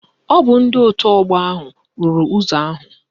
Ọ bụ ndị otu ọgbọ ahụ rụrụ ụzọ ahụ